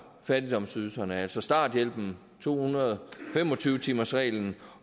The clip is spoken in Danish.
fattigdomsydelserne altså starthjælpen to hundrede og fem og tyve timersreglen